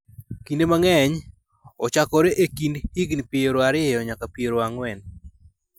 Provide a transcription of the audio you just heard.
Kinde mang�eny, ochakore e kind higni 20 nyaka 40.